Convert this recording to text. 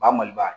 Ba maliba